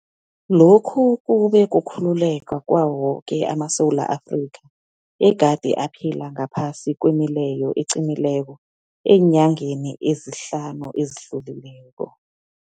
Lokhu kube kukhululeka kwawo woke amaSewula Afrika egade aphila ngaphasi kwemileyo eqinileko eenyangeni ezihlanu ezidlulileko.